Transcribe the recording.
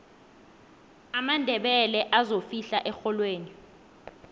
amandebele azofihla erholweni